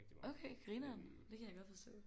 Okay grineren det kan jeg godt forstå